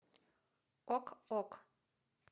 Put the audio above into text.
ок ок